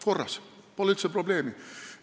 Korras – pole üldse probleemi!